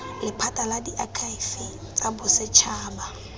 lephata la diakhaefe tsa bosetšhaba